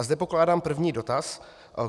A zde pokládám první dotaz.